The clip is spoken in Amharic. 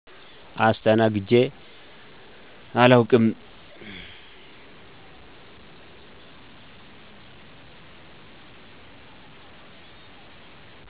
አስተናግጀ አላውቅም